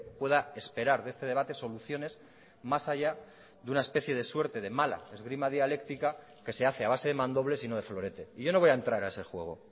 pueda esperar de este debate soluciones más allá de una especie de suerte de mala esgrima dialéctica que se hace a base de mandobles y no de florete y yo no voy a entrar a ese juego